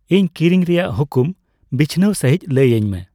ᱤᱧ ᱠᱤᱨᱤᱧ ᱨᱮᱭᱟᱜ ᱦᱩᱠᱩᱢ ᱵᱤᱪᱷᱱᱟᱹᱣ ᱥᱟᱹᱦᱤᱡ ᱞᱟᱹᱭ ᱟᱹᱧᱢᱮ